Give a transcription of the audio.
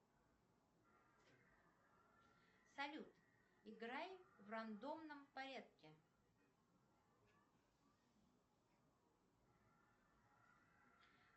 салют играй в рандомном порядке